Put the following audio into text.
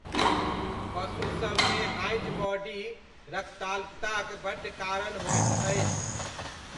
पशुसबमे Heinz body रक्ताल्पताक बड्ड कारण होइत अछि।